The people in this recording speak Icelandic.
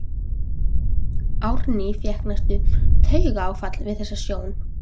Árný fékk næstum taugaáfall við þessa sjón.